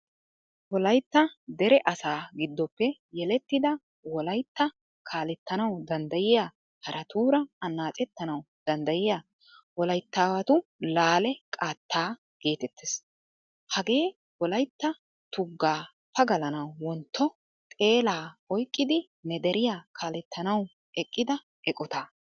Wolaytta dere asa giddoppe yelettida wolaytta kaalettanawu danddayiyaa haraatuuraa annaccettanawu danddiya wolyttaawatu laale qaattaa getettees. Hagee wolaytta tugga pagalanawu wontto xeelaa oyqqidi ne deriya kaalettanawu eqqida eqqotta.